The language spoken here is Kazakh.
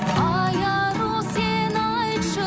ай ару сен айтшы